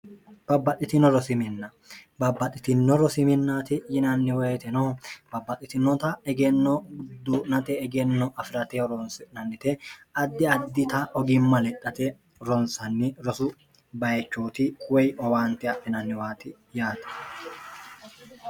babbaxxitino rosiminna babbaxxitino rosiminnaati yinanni woyite no baabbaxxitinota egenno gudduu'nate egenno afi'rate hronsinannite addi addita ogimma lexxhate ronsanni rosu bayichooti woy owaante afinanniwaati yaate